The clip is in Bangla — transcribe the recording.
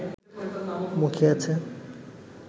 মুখিয়ে আছে